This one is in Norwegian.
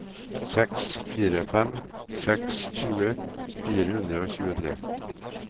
seks fire fem seks tjue fire hundre og tjuetre